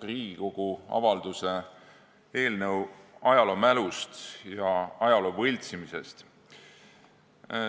Riigikogu avalduse "Ajaloomälust ja ajaloo võltsimisest" eelnõu.